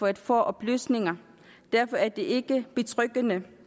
at få oplysninger derfor er det ikke betryggende